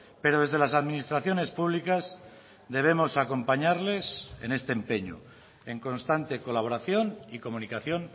pero desde las administraciones públicas debemos acompañarles en este empeño en constante colaboración y comunicación